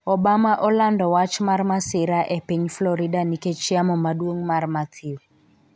Obama olando wach mar masira e piny Florida nikech yamo maduong' mar Matthew